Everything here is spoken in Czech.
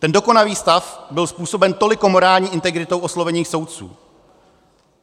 Ten dokonavý stav byl způsobem toliko morální integritou oslovených soudců.